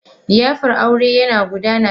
liyafar aurena yana gudana yanzu a wancan otal.